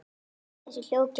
Þessi hljóð geta